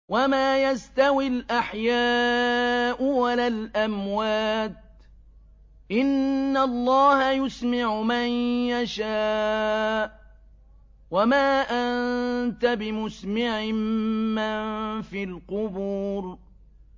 وَمَا يَسْتَوِي الْأَحْيَاءُ وَلَا الْأَمْوَاتُ ۚ إِنَّ اللَّهَ يُسْمِعُ مَن يَشَاءُ ۖ وَمَا أَنتَ بِمُسْمِعٍ مَّن فِي الْقُبُورِ